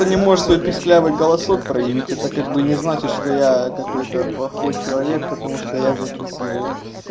он не можешь свой писклявый голосок проявить это как бы не значит что я какой-то плохой человек потому что я записываю